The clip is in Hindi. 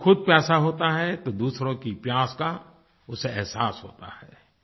जब वो ख़ुद प्यासा होता है तो दूसरों की प्यास का उसे एहसास होता है